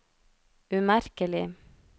umerkelig